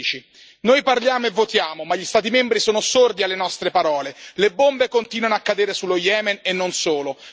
2016. Noi parliamo e votiamo ma gli Stati membri sono sordi alle nostre parole le bombe continuano a cadere sullo Yemen, e non solo